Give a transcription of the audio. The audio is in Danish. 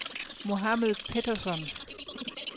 Mohamed Petersson